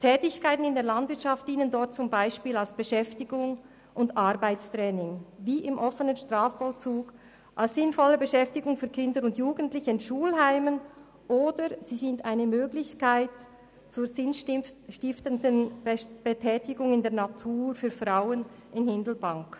Tätigkeiten in der Landwirtschaft dienen dort zum Beispiel als Beschäftigung und als Arbeitstraining, wie im offenen Strafvollzug als sinnvolle Beschäftigung für Kinder und Jugendliche in Schulheimen, oder sie sind eine Möglichkeit zur sinnstiftenden Betätigung in der Natur für Frauen in Hindelbank.